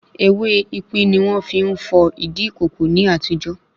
Ewé ipín ni wọ́n fi ń fọ̀ ìdí ìkòkò ní àtijó